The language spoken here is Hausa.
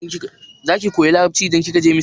Za ki koya Larabci idan kika je Misra?